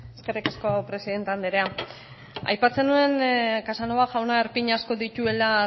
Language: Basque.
eskerrik asko presidente andrea aipatzen nuen casanova jauna arpin asko dituela